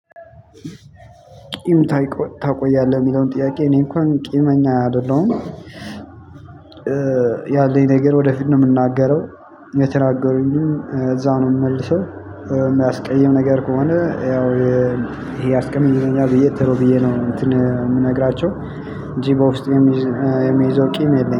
ቂም ታይ ታቆያለህ የሚለውን ጥያቄ እኔ እንኳን ቂመኛ አይደለሁም። ያለኝ ነገር ወደፊት ነው የምናገረው። የተናገሩኝም እዛ ነው የምንመልሰው። የሚያስቀይም ነገር ከሆነ ያው ይሄ ያስቀይመኛል ብዬ ተሎ ብዬ ነው እንትን የምነግራቸው እንጂ በውስጥ የሚይዘው ቂም የለኝም